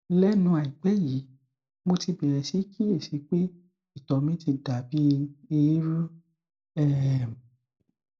lẹnu àìpẹ yìí mo ti bẹrẹ sí kíyèsí pé ìtọ mi ti dà bí eérú um